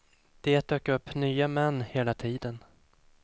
Det dök upp nya män hela tiden.